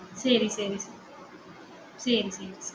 சரி சரி சரி சரி